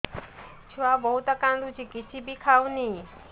ଛୁଆ ବହୁତ୍ କାନ୍ଦୁଚି କିଛିବି ଖାଉନି